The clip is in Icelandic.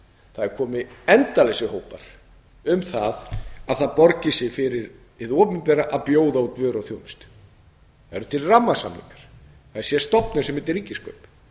það koma endalausar hópar um að það borgi sig fyrir hið opinbera að bjóða út vöru og þjónustu það eru til rammasamningar það er stofnun sem heitir ríkiskaup